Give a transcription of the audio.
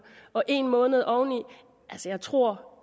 og en måned oveni tror